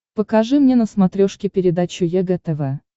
покажи мне на смотрешке передачу егэ тв